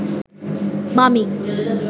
মামী